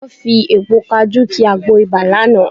Wọ́n fi èpo kajú ki àgbo ibà lánàá